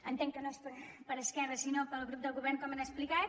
entenc que no és per esquerra sinó pel grup del govern com han explicat